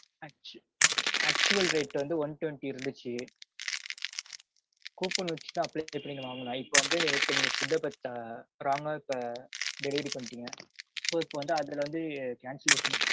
actual rate வந்து one twenty இருந்துச்சு. coupon வச்சுதான் பன்னி வாங்குனோம் இப்போ வந்து இப்போ நீங்க food -அ wrong -அ இப்போ delivery பண்ணிட்டீங்க. so, இப்போ வந்து அதுல வந்து cancellation பண்ணி